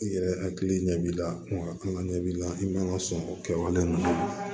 I yɛrɛ hakili ɲɛ b'i la ɔ an ɲɛ b'i la i man ka sɔn o kɛwale ninnu